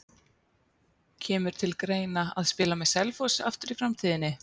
Kemur til greina að spila með Selfoss aftur í framtíðinni?